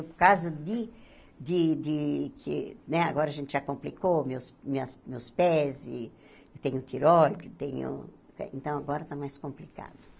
Por causa de de de que né... Agora a gente já complicou meus minhas meus pés, e tenho tiróide, tenho eh... Então, agora está mais complicado.